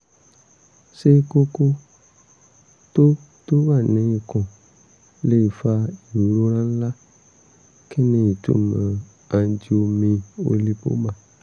ṣé kókó tó tó wà ní ikùn lè fa ìrora ńlá? kí ni ìtumọ̀ angiomyolipoma?